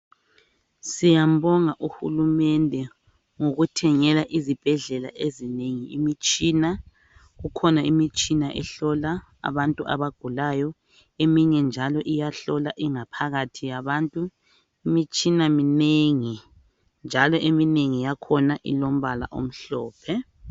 Siyambonga uhulumende ngokuthengela izibhedlela ezinengi imitshina, Kukhona imitshina ehlola abantu abagulayo, eminye njalo iyahlola ingaphakathi yabantu , imitshina minengi njalo eminengi ilombala omhlophe.